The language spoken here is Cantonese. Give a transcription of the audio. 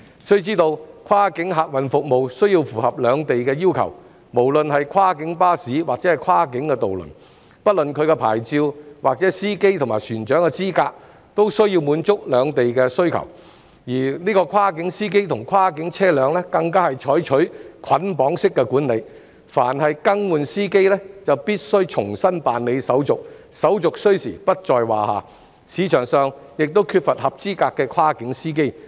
須知道，跨境客運服務需要符合兩地要求，無論是跨境巴士或跨境渡輪，不論其牌照或司機和船長的資格，均需要滿足兩地要求，而跨境司機及跨境車輛更是採取捆綁式管理，凡更換司機便必須重新辦理手續，手續需時不在話下，市場上亦缺乏合資格的跨境司機。